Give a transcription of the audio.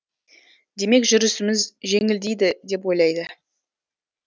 демек жүрісіміз жеңілдейді деп ойлайды